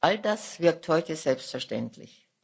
All das wirkt heute selbstverständlich.